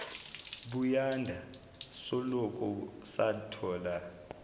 buyanda soloku sathola